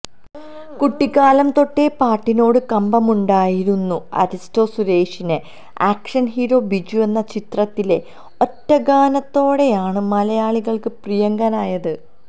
കുട്ടിക്കാലം തൊട്ടേ പാട്ടിനോടു കമ്പമുണ്ടായിരുന്നു അരിസ്റ്റോ സുരേഷിനെ ആക്ഷൻ ഹീറോ ബിജു എന്ന ചിത്രത്തിലെ ഒറ്റ ഗാനത്തോടെയാണ് മലയാളികൾക്ക് പ്രിയങ്കരനായത്